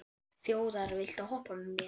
Þjóðar, viltu hoppa með mér?